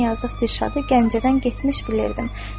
Mən yazıq Dirşadı Gəncədən getmiş bilirdim.